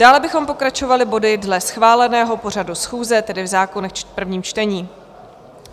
Dále bychom pokračovali body dle schváleného pořadu schůze, tedy v zákonech v prvním čtení.